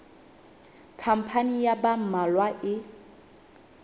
khampani ya ba mmalwa e